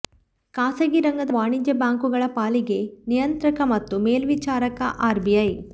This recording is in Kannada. ಖಾಸಗಿ ರಂಗದ ವಾಣಿಜ್ಯ ಬ್ಯಾಂಕುಗಳ ಪಾಲಿಗೆ ನಿಯಂತ್ರಕ ಮತ್ತು ಮೇಲ್ವಿಚಾರಕ ಆರ್ಬಿಐ